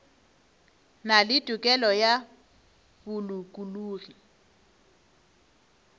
na le tokelo ya bolokologi